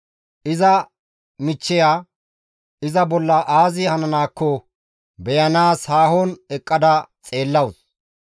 Iza michcheya iza bolla aazi hananaakko beyanaas haahon eqqada xeellawus.